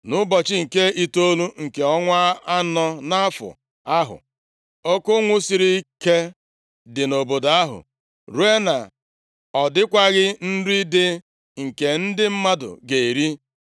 Nʼụbọchị nke itoolu nke ọnwa anọ nʼafọ ahụ, oke ụnwụ siri ike dị nʼobodo ahụ ruo na ọ dịkwaghị nri dị nke ndị mmadụ ga-eri.